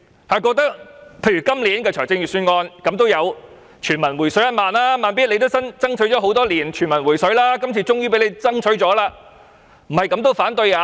他們覺得今年的預算案有全民"回水 "1 萬元，"慢咇"爭取多年，今年終於成功爭取，怎樣還要反對？